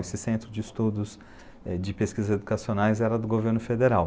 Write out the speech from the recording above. Esse centro de estudos de pesquisas educacionais era do governo federal.